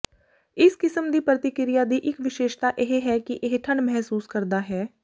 ਇਸ ਕਿਸਮ ਦੀ ਪ੍ਰਤੀਕ੍ਰਿਆ ਦੀ ਇਕ ਵਿਸ਼ੇਸ਼ਤਾ ਇਹ ਹੈ ਕਿ ਇਹ ਠੰਡ ਮਹਿਸੂਸ ਕਰਦਾ ਹੈ